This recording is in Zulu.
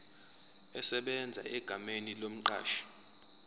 esebenza egameni lomqashi